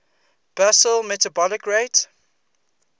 basal metabolic rate